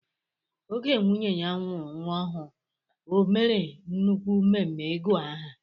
Oge nwunye ya mụrụ nwa ọhụụ o mèrè nnukwu mmemme ịgu aha.